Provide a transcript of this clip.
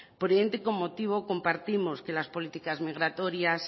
por ende con motivo compartimos que las políticas migratorias